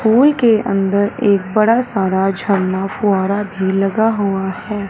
पुल के अंदर एक बड़ा सारा झरना फूआर भी लगा हुआ है।